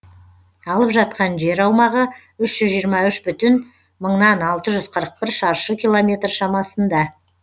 алып жатқан жер аумағы үш жүз жиырма үш бүтін мыңнан алты жүз қырық бір шаршы километр шамасында